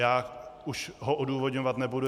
Já už ho odůvodňovat nebudu.